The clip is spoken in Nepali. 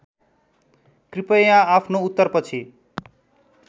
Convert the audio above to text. कृपया आफ्नो उत्तरपछि